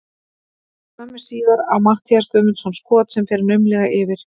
Skömmu síðar á Matthías Guðmundsson skot sem fer naumlega yfir.